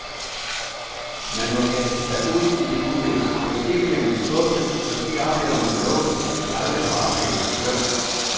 Man må kaste sig ud i det uvisse, måske bliver man skuffet, måske oplever man noget, man aldrig har oplevet før.